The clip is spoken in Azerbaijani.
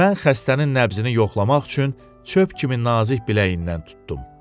Mən xəstənin nəbzini yoxlamaq üçün çöp kimi nazik biləyindən tutdum.